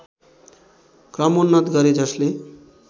क्रमोन्नत गरे जसले